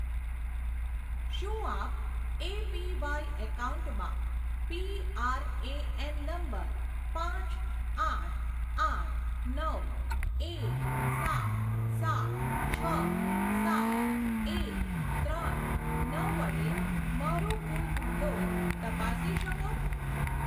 શું આપ એપીવાય એકાઉન્ટમાં પીઆરએએન નંબર પાંચ આઠ આઠ નવ એક સાત સાત છ સાત એક ત્રણ નવ વડે મારું કુલ ભંડોળ તપાસી શકો?